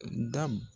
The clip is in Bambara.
Da